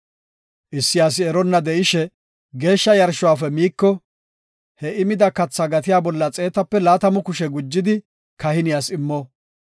“Issi asi eronna de7ishe geeshsha yarshuwafe miiko, he I mida kathaa gatiya bolla xeetaape laatamu kushe gujidi kahiniyas immo.